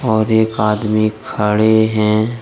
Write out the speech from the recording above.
और एक आदमी खड़े हैं।